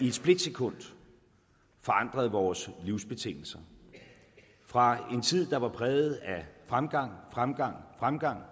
et splitsekund forandrede vores livsbetingelser fra en tid der var præget af fremgang fremgang fremgang